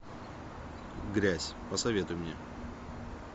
грязь посоветуй мне